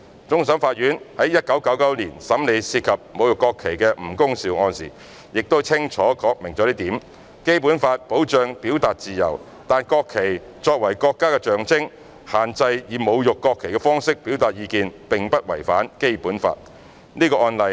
終審法院於1999年審理涉及侮辱國旗的吳恭劭案時，已清楚確立這一點︰《基本法》保障表達自由，但國旗作為國家的象徵，限制以侮辱國旗方式表達意見並不違反《基本法》。